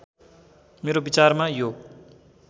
मेरो विचारमा यो